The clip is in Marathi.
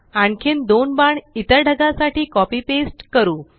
आणखीन दोन बाण इतर ढगासाठी कॉपी पेस्ट करु